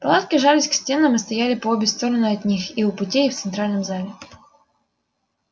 палатки жались к стенам и стояли по обе стороны от них и у путей и в центральном зале